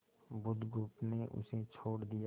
बुधगुप्त ने उसे छोड़ दिया